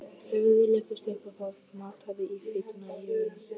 Höfuðið lyftist upp og það mataði í hvítuna í augunum.